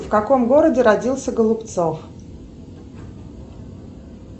в каком городе родился голубцов